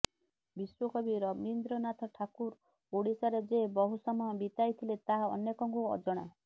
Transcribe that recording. ବିଶ୍ୱକବି ରବୀନ୍ଦ୍ରନାଥ ଠାକୁର ଓଡ଼ିଶାରେ ଯେ ବହୁ ସମୟ ବିତାଇଥିଲେ ତାହା ଅନେକଙ୍କୁ ଅଜଣା